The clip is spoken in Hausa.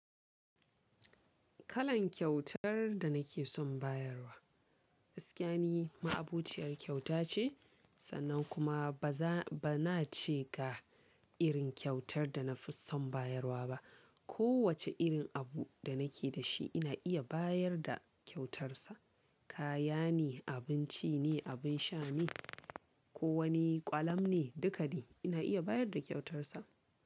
Kalan kyautar da nake son bayarwa, gaskiya ni, ma'abociyar kyauta ce sannan kuma ba na ce ga irin kyautar da na fi son bayarwa ba. Kowace irin abu da nake da shi ina iya bayar da kyautarsa. Kaya ne, abinci ne, abin sha ne ko wani ƙwalam ne, duka de ina iya bayar da kyautarsa.